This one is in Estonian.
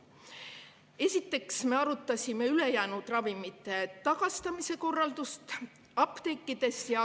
Esiteks me arutasime jäänud ravimite tagastamise korraldust apteekides.